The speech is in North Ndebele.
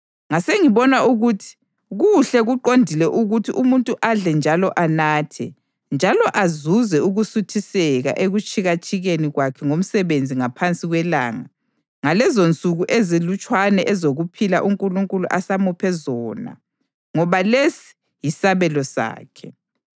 Ngasengibona ukuthi kuhle kuqondile ukuthi umuntu adle njalo anathe, njalo azuze ukusuthiseka ekutshikatshikeni kwakhe ngomsebenzi ngaphansi kwelanga ngalezonsuku ezilutshwane ezokuphila uNkulunkulu asamuphe zona ngoba lesi yisabelo sakhe.